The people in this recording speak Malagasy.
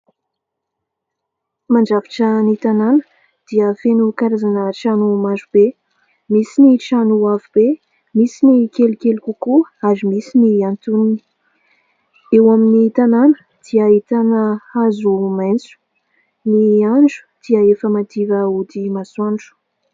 Mandrafitra ny tanàna dia feno karazana trano maro be : misy ny trano avo be, misy ny kelikely kokoa ary misy ny antonony. Ao amin'ny tanàna dia ahita hazo maitso. Ny andro dia efa madiva hody masoandro.